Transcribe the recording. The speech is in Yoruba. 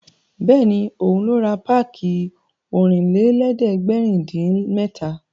Bẹ́ẹ̀ni, òun ló ra páàkì Ọ̀rìnlélẹ̀ẹ́dẹ́gbèrin-dín-mẹ́ta